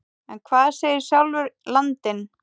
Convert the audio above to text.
En hvað segir sjálfur landinn?